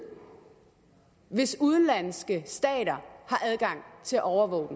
hvis udenlandske stater har adgang til at overvåge